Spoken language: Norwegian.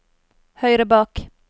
høyre bak